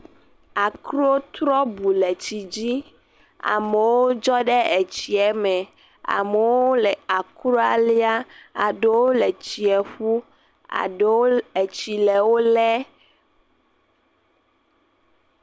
Akro trɔ bu le tsi dzi amewo dzɔ ɖe etsia me amewo le akroa liam aɖewo le tsia ƒum aɖewo tsi le wo lem